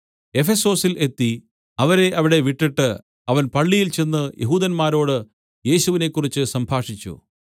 എഫെസൊസിൽ എത്തി അവരെ അവിടെ വിട്ടിട്ട് അവൻ പള്ളിയിൽ ചെന്ന് യെഹൂദന്മാരോട് യേശുവിനെ കുറിച്ച് സംഭാഷിച്ചു